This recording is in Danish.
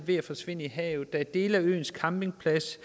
ved at forsvinde i havet når der er dele af øens campingplads